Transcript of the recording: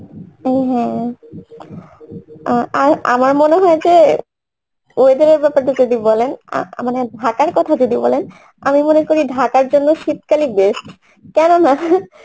হ্যাঁ আহ আমার মনে হয় যে weather এর ব্যপারটা যদি বলেন আহ মানে ঢাকার কথা যদি বলেন আমি মনে করি ঢাকার জন্যে শীতকালই best কেননা